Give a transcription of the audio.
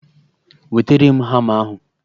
Wetere m hama ahụ!